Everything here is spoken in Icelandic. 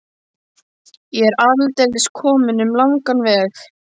Ég er aldeilis kominn um langan veg.